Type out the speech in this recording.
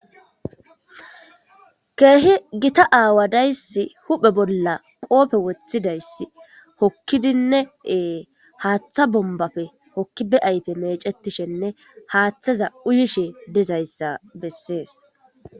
keehi gita aawa dayss huphe bolla qoofe woththidayss hokkidinneee haaththa bombafe hokkibe ayfe mecetishenne haaththaza uyishe dezayssa bessees